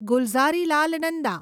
Gulzarilal Nanda